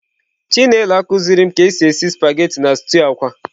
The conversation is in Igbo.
Chinelo akuzirim ka esi esi spaghetị na stew akwa.